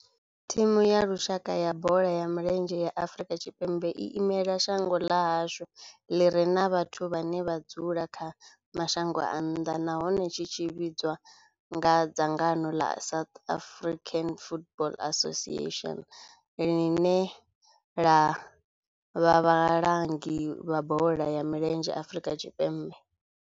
Thimu ya lushaka ya bola ya milenzhe ya Afrika Tshipembe i imela shango ḽa hashu ḽi re na vhathu vhane vha dzula kha mashango a nnḓa nahone tshi tshimbidzwa nga dzangano la South African Football Association, line la vha vhalangi vha bola ya milenzhe Afrika Tshipembe.